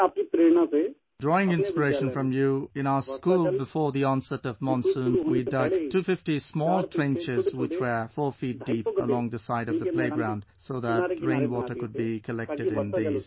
"Drawing inspiration from you, in our school, before the onset of monsoon we dug 250 small trenches which were 4 feet deep, along the side of the playground, so that rainwater could be collected in these